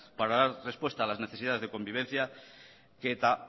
para dar respuesta a las necesidades de convivencia que eta